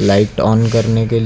Light on करने के लिए।